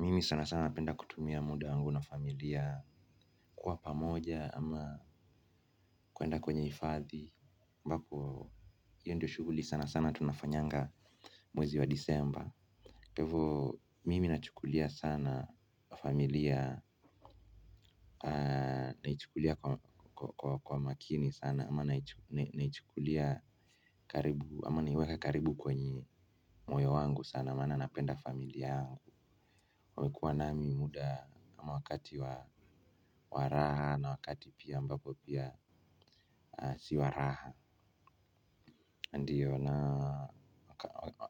Mimi sana sana napenda kutumia muda wangu na familia kuwa pamoja ama kuenda kwenye ifathi ambapo hiyo ndo shughuli sana sana tunafanyanga mwezi wa disemba. Kwa hivo mimi nachukulia sana familia naichukulia kwa makini sana ama naichukulia karibu. Ama naichukulia karibu kwenye moyo wangu sana maana napenda familia yangu amekuwa nami muda wakati wa wa raha na wakati pia ambapo pia si wa raha ndiyo na